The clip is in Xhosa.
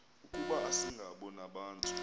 ukuba asingabo nabantu